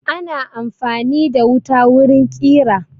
Ana amfani da wuta wurin kira